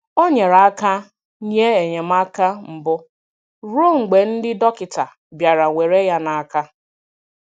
Ọ nyere aka nye enyemaka mbụ ruo mgbe ndị dọkịta bịara were ya n'aka..